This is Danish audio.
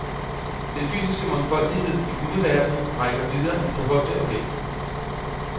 Den fysiske mangfoldighed i hundeverdenen rækker videre end til højde og vægt.